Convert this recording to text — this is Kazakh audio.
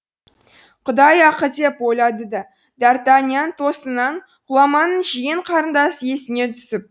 құдай ақы деп ойлады д артаньян тосыннан ғұламаның жиен қарындасы есіне түсіп